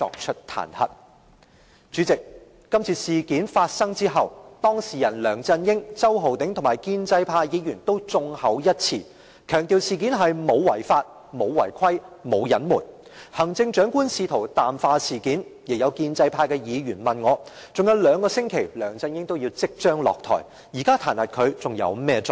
代理主席，今次事件發生後，當事人梁振英、周浩鼎議員和建制派議員均眾口一詞，強調事件沒有違法、沒有違規，亦沒有隱瞞，行政長官試圖淡化事件，亦有建制派的議員問我，尚有兩個星期梁振英便要落台，現在彈劾他，還有甚麼作用？